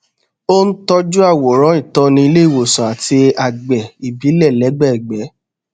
ó n tọjú àwòrán ìtọni ilé ìwòsàn àti agbè ìbílẹ lẹgbẹẹgbẹ